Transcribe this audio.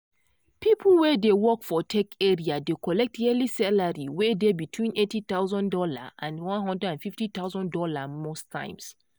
people wey dey work for tech area dey collect yearly salary wey dey between $80000 andone hundred and fifty thousand dollars most times.